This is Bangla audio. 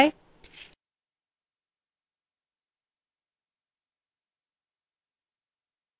assignment বা অনুশীলনী